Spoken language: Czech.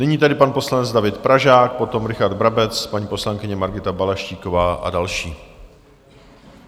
Nyní tedy pan poslanec David Pražák, potom Richard Brabec, paní poslankyně Margita Balaštíková a další.